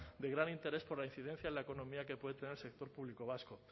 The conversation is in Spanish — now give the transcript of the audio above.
de gran interés por la incidencia en la economía que puede tener el sector público vasco